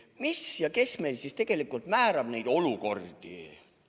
Kes meil siis tegelikult määrab neid olukordi?